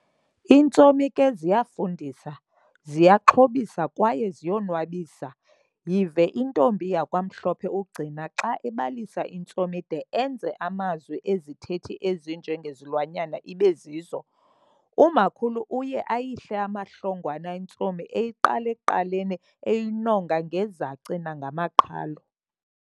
intsomi ke ziyafundisa, ziyaxhobisa kwaye ziyo nwabisa yive intombi yakwaMhlophe uGcina xa ebalisa intsomi de enze amazwi ezithethi ezinje ngezilwanyana ibezizo. Umakhulu uye ayihle amahlongwane intsomi eyiqala ekuqaleni eyinonga ngezaci namaqhalo.